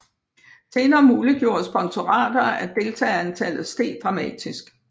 Senere muliggjorde sponsorater at deltagerantallet steg dramatisk